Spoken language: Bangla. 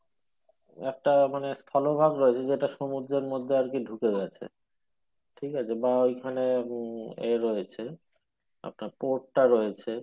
একটা মানে স্থল ভাগ রয়েছে যেটা সমুদ্রের মধ্যে আরকি ঢুকে গেছে বা ঐখানে এ রয়েছে আপনার রয়েছে